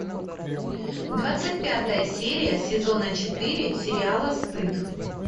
двадцать пятая серия сезона четыре сериала стыд